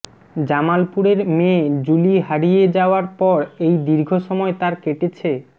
জামালপুরের মেয়ে জুলি হারিয়ে যাওয়ার পর এই দীর্ঘ সময় তার কেটেছে